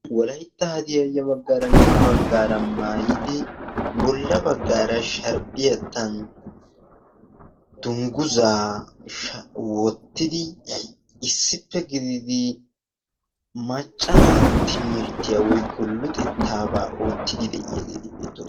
walaytta hadiya ya baggaaranne ha baggaara maayidi bolla baggaara sharppiyaattan dungguzaa wottidi issippe gididi macca naato timirttiyaa woyko luxettaabaa oottidi de'iyaageeti beettoosona.